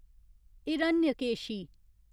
Hiranyakeshi